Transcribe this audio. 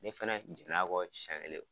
Ne fɛnɛ jɛn'a kɔ siyɛ kelen.